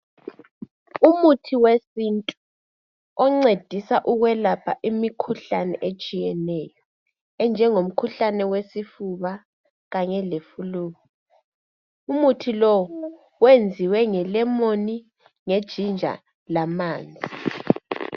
Umuthi wesintu oncedisa ukwelapha imikhuhlane etshiyeneyo enjengo mkhuhlane wesifuba kanye le"Flu" .Umuthi lowo wenziwe nge "lemon",nge "ginger" lamanzi.